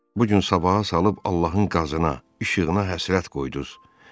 Bu gün sabaha salıb Allahın qazasına, işığına həsrət qoydunuz.